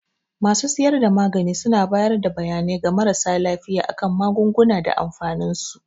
Masu siyar da magani suna bayar da bayanai ga marasa lafiya a kan magunguna da amfanin su.